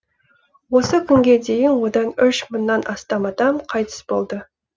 осы күнге дейін одан үш мыңнан астам адам қайтыс болды